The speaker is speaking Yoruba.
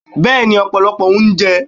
bẹẹni, opolopo ounje.